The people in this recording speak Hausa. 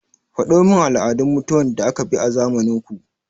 Faɗo min al'adun mutuwan da aka bi a zamanin ku!